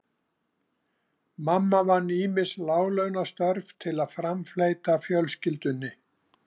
Mamma vann ýmis láglaunastörf til að framfleyta fjölskyldunni.